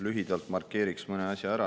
Lühidalt markeeriks mõne asja ära.